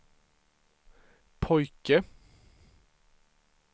pojke